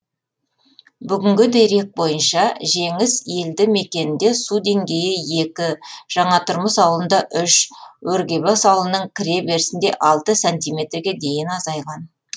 бүгінгі дерек бойынша жеңіс елді мекенінде су деңгейі екі жаңатұрмыс ауылында үш өргебас ауылының кіре берісінде алты сантиметрге дейін азайған